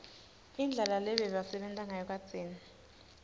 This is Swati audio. indlela lebebasebenta ngayo kadzeni